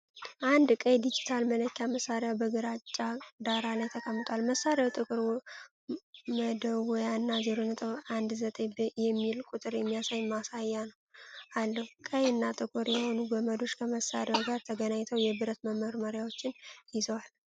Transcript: አንድ ቀይ ዲጂታል መለኪያ መሳሪያ በግራጫ ዳራ ላይ ተቀምጧል። መሳሪያው ጥቁር መደወያ እና '0.19' የሚል ቁጥር የሚያሳይ ማሳያ አለው። ቀይ እና ጥቁር የሆኑ ገመዶች ከመሳሪያው ጋር ተገናኝተው የብረት መመርመሪያዎችን ይዘዋል።